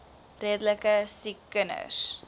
redelike siek kinders